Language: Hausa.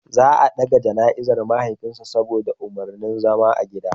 Za a dage jana'izar mahaifin sa saboda umarnin zama a gida.